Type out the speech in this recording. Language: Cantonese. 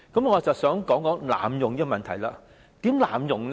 我正是要討論這問題，如何濫用呢？